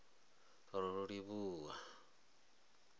rolivhuwan